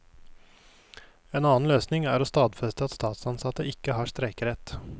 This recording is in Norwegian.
En annen løsning er å stadfeste at statsansatte ikke har streikerett.